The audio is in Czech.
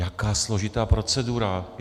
Jaká složitá procedura?